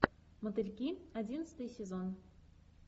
мотыльки одиннадцатый сезон